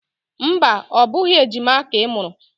Mba, ọ bụghị ejima ka ị mụrụ.